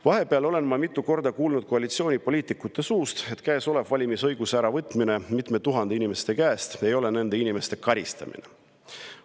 Vahepeal olen ma mitu korda kuulnud koalitsioonipoliitikute suust, et käesolev valimisõiguse äravõtmine mitmelt tuhandelt inimeselt ei ole nende inimeste karistamine.